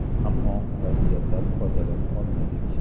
Ammo vaziyatdan foydalana olmadik.